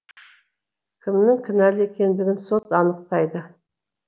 кімнің кінәлі екендігін сот анықтайды